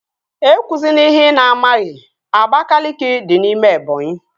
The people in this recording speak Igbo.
E kwụzina ihe ị na-amaghị! Abakaliki dị n'ime Ebọnyi